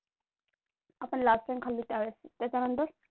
आपण last time खाल्ली त्यावेळेस त्याच्यानंतर?